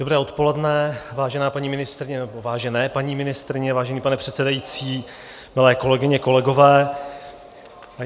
Dobré odpoledne, vážená paní ministryně, nebo vážené paní ministryně, vážený pane předsedající, milé kolegyně, kolegové.